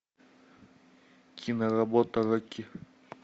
киноработа рокки